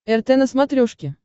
рт на смотрешке